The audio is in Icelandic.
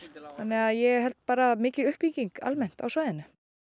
þannig að ég held bara mikil uppbygging almennt á svæðinu